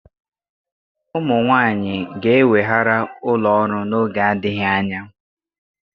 Ụmụ nwanyị ga-eweghara ụlọ ọrụ n'oge adịghị anya